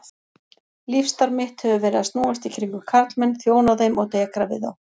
Lífsstarf mitt hefur verið að snúast í kringum karlmenn, þjóna þeim og dekra við þá.